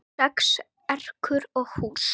Sex ekrur og hús